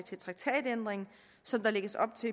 til traktatændring som der lægges op til